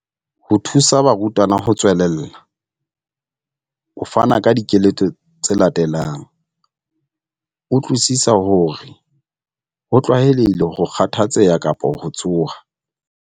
Ho thusa barutwana ho tswelella, o fana ka dikeletso tse latelang- Utlwisisa hore ho tlwaelehile ho kgathatseha kapa ho tshoha.